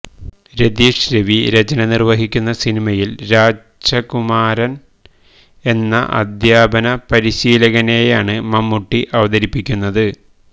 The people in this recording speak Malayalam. രതീഷ് രവി രചന നിർവഹിക്കുന്ന സിനിമയിൽ രാജകുമാരൻ എന്ന അദ്ധ്യാപന പരീശീലകനെയാണ് മമ്മൂട്ടി അവതരിപ്പിക്കുന്നത്